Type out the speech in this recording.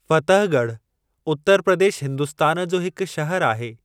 फ़तहगढ़ उतर प्रदेश हिन्दुस्तान जो हिक शहरु आहे।